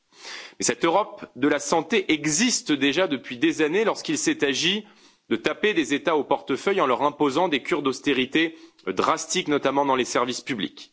Mais cette Europe de la santé existe déjà depuis des années, lorsqu'il s'est agi de taper des États au portefeuille en leur imposant des cures d'austérité drastiques, notamment dans les services publics.